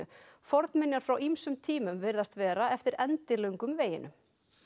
fornminjar frá ýmsum tímum virðast vera eftir endilöngum veginum